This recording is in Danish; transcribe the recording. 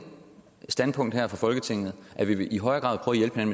standpunkt her fra folketinget at vi i højere grad